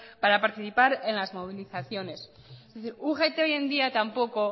para participar en las movilizaciones es decir ugt hoy en día tampoco